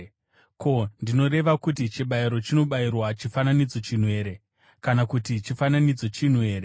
Ko, ndinoreva kuti chibayiro chinobayirwa chifananidzo chinhu here, kana kuti chifananidzo chinhu here?